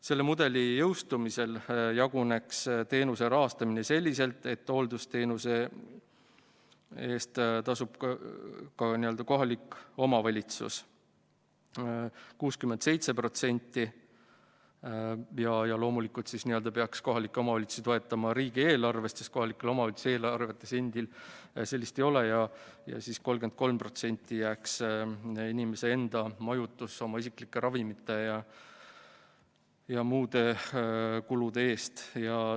Selle mudeli jõustumisel jaguneks teenuse rahastamine selliselt, et hooldusteenuse eest tasub kohalik omavalitsus 67% – loomulikult peaks kohalikke omavalitsusi toetama riigieelarvest, sest kohalikel omavalitsustel eelarves endil sellist raha ei ole – ja 33% jääks inimese enda kanda majutuse, isiklike ravimite ja muu eest.